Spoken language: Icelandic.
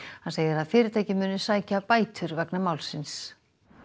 hann segir að fyrirtækið muni sækja bætur vegna málsins